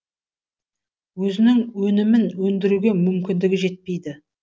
өзінің өнімін өндіруге мүмкіндігі жетпейді